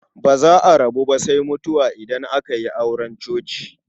Ba za a rabu ba sai mutuwa idan aka yi auren coci.